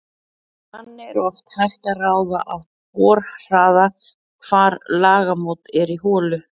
Þannig er oft hægt að ráða af borhraða hvar lagamót eru í holu.